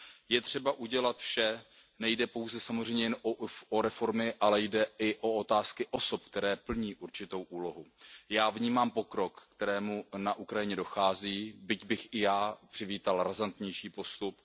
Je třeba udělat vše, nejde pouze samozřejmě jen o reformy, ale jde i o otázky osob, které plní určitou úlohu. Já vnímám pokrok, ke kterému na Ukrajině dochází, byť bych i já přivítal razantnější postup.